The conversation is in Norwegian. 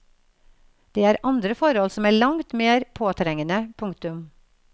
Det er andre forhold som er langt mer påtrengende. punktum